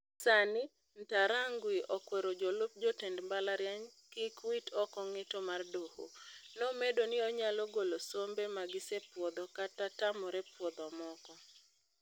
Sani, Ntarangwi okwero jolup jotend mbalariany kik wit oko ng'eto mar doho. Nomedo ni onyalo golo sombe magisepuodho kata tamore puodho moko.